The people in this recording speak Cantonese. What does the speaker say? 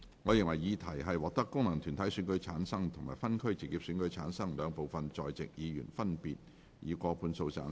我認為議題獲得功能團體選舉及分區直選產生的兩部分在席議員，分別過半數贊成。